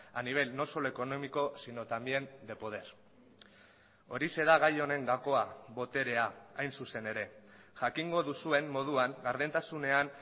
a nivel no solo económico sino también de poder horixe da gai honen gakoa boterea hain zuzen ere jakingo duzuen moduan gardentasunean